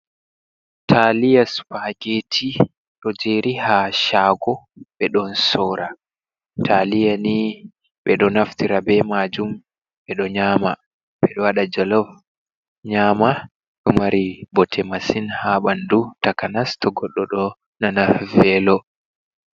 taliya spageti do jeri ha shago be don sora. taliya ni be do naftira be majun be do nyama, bedo wada jolof nyama ɗo mari bote masin ha ɓandu takanas to goddo ɗo nana velo.